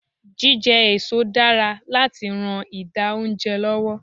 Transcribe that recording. Jíjẹ èso dára láti ran ìdà oúnjẹ lọ́wọ́.